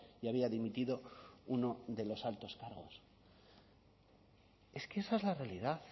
y había dimitido uno de los altos cargos es que esa es la realidad